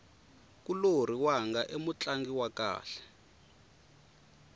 nkulorhi wanga i mutlangi wa kahle